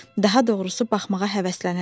Daha doğrusu baxmağa həvəslənərdi.